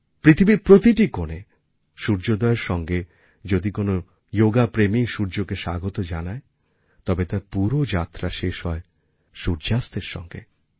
পৃথিবীর প্রতিটি কোণে সূর্যোদয়ের সঙ্গে যদি কোনও যোগাপ্রেমী সূর্যকে স্বাগত জানায় তবে তার পুরো যাত্রা শেষ হয় সূর্যাস্তের সঙ্গে